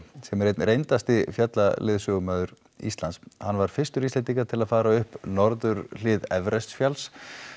sem er einn reyndasti fjallaleiðsögumaður Íslands hann var fyrstur Íslendinga til að fara upp norðurhlið Everest fjalls